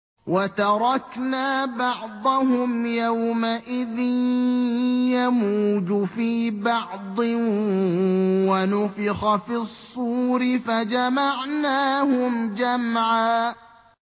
۞ وَتَرَكْنَا بَعْضَهُمْ يَوْمَئِذٍ يَمُوجُ فِي بَعْضٍ ۖ وَنُفِخَ فِي الصُّورِ فَجَمَعْنَاهُمْ جَمْعًا